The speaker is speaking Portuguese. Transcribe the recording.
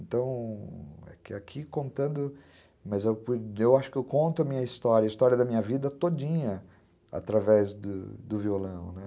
Então, é que aqui contando, mas eu acho que eu conto a minha história, a história da minha vida todinha através do violão, né?